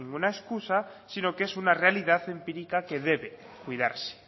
ninguna excusa sino que es una realidad empírica que debe cuidarse